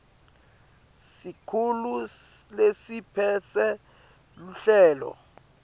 sikhulu lesiphetse luhlelo